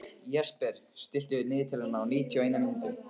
Jesper, stilltu niðurteljara á níutíu og eina mínútur.